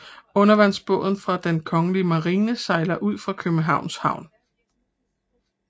Undervandsbåd fra Den kongelige Marine sejler ud af Københavns Havn